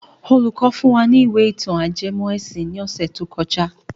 Olùkọ́ fún wa ní ìwé ìtàn ajẹmọ́ ẹ̀sìn ní ọ̀sẹ̀ tó kọjá.